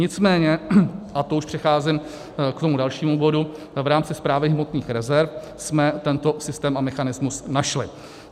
Nicméně, a to už přecházím k tomu dalšímu bodu, v rámci Správy hmotných rezerv jsme tento systém a mechanismus našli.